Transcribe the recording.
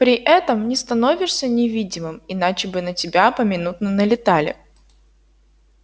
при этом не становишься невидимым иначе бы на тебя поминутно налетали